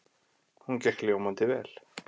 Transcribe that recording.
Hún gekk ljómandi vel.